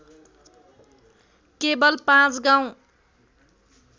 केवल पाँच गाउँ